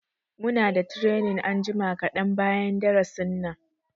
Muna da training anjima kaɗan bayan darasin nan.